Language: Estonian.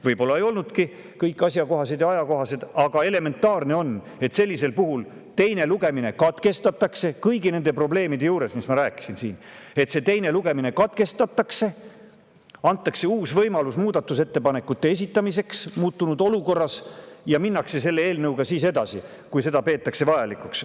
Võib-olla ei olnudki kõik asjakohased ja ajakohased, aga elementaarne on, et sellisel puhul teine lugemine katkestatakse – kõigi nende probleemide puhul, millest ma siin rääkisin, teine lugemine katkestatakse –, antakse uus võimalus muudatusettepanekute esitamiseks ja minnakse eelnõuga edasi, kui seda peetakse vajalikuks.